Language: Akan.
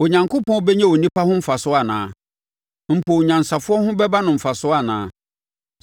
“Onyankopɔn bɛnya onipa ho mfasoɔ anaa? Mpo onyansafoɔ ho bɛba no mfasoɔ anaa?